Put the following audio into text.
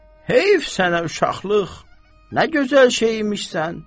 Heyf sənə uşaqlıq, nə gözəl şey imişsən.